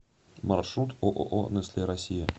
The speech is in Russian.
маршрут ооо нестле россия